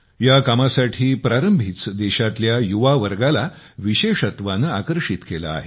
या कामासाठी प्रारंभीच देशातल्या युवा वर्गाला विशेषत्वाने आकर्षित केले आहे